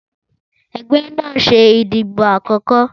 Ẹgbẹ́ náà ń ṣe ìdìbò àkọ́kọ́.